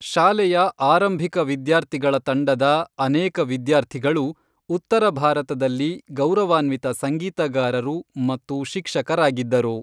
ಶಾಲೆಯ ಆರಂಭಿಕ ವಿದ್ಯಾರ್ಥಿಗಳ ತಂಡದ ಅನೇಕ ವಿದ್ಯಾರ್ಥಿಗಳು ಉತ್ತರ ಭಾರತದಲ್ಲಿ ಗೌರವಾನ್ವಿತ ಸಂಗೀತಗಾರರು ಮತ್ತು ಶಿಕ್ಷಕರಾಗಿದ್ದರು.